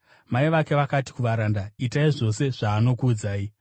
Mai vake vakati kuvaranda, “Itai zvose zvaanokuudzai.”